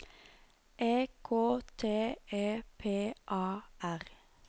E K T E P A R